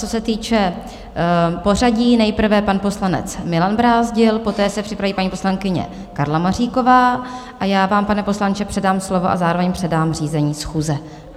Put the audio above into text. Co se týče pořadí, nejprve pan poslanec Milan Brázdil, poté se připraví paní poslankyně Karla Maříková a já vám, pane poslanče, předám slovo a zároveň předám řízení schůze.